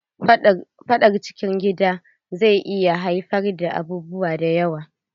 Fadar cikin gida zai iya haifar da abubuwa da yawa.